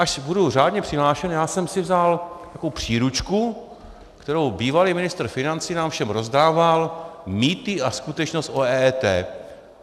Až budu řádně přihlášen, já jsem si vzal takovou příručku, kterou bývalý ministr financí nám všem rozdával, Mýty a skutečnost o EET.